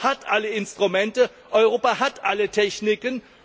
Europa hat alle Instrumente, Europa hat alle Techniken.